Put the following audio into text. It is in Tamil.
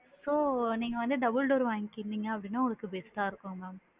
So வந்து double door வாங்கிடிங்க அப்படின்னா உங்களுக்கு best டா இருக்கும் ma'am,